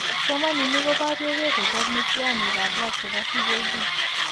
Kipsomaniik ko barieke ko chop miitiyaaniinikap lab che po CJD.